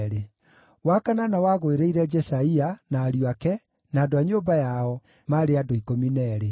wa kanana wagũĩrĩire Jeshaia, na ariũ ake, na andũ a nyũmba yao, maarĩ andũ 12;